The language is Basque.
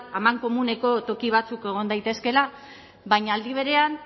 amankomuneko toki batzuk egon daitezkeela baina aldi berean